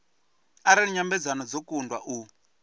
arali nyambedzano dzo kundwa u